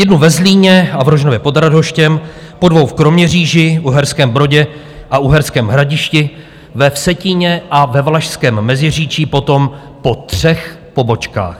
Jednu ve Zlíně a v Rožnově pod Radhoštěm, po dvou v Kroměříži, Uherském Brodě a Uherském Hradišti, ve Vsetíně a ve Valašském Meziříčí potom po třech pobočkách.